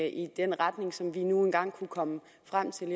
i den retning som vi nu engang kunne komme frem til